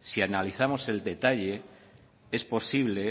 si analizamos el detalle es posible